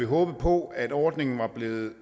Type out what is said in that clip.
håbet på at ordningen var blevet